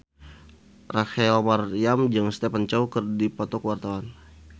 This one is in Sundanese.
Rachel Maryam jeung Stephen Chow keur dipoto ku wartawan